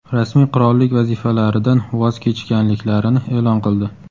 rasmiy qirollik vazifalaridan voz kechganliklarini e’lon qildi.